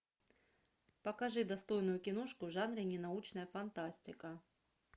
покажи достойную киношку в жанре ненаучная фантастика